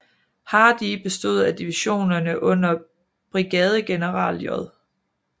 Hardee bestod af divisionerne under brigadegeneral J